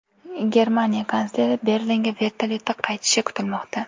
Germaniya kansleri Berlinga vertolyotda qaytishi kutilmoqda.